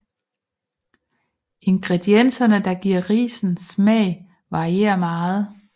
Ingredienserne der giver risen smag varierer meget